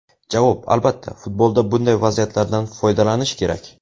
Javob: Albatta, futbolda bunday vaziyatlardan foydalanish kerak.